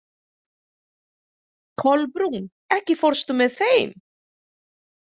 Kolbrún, ekki fórstu með þeim?